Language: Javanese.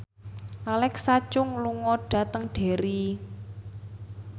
Alexa Chung lunga dhateng Derry